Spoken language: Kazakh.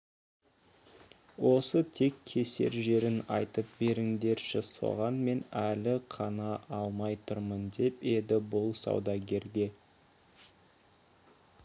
осы тек кесер жерін айтып беріңдерші соған мен әлі қана алмай тұрмын деп еді бұл саудагерлерге